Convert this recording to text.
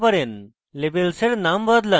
labels এর নাম বদলান